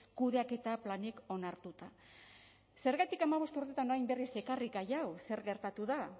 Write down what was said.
kudeaketa planik onartuta zergatik hamabost urtetan orain berriz ekarri gai hau zer gertatu da